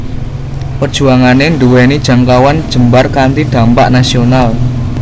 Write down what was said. Perjuangané nduwèni jangkauan jembar kanthi dhampak nasional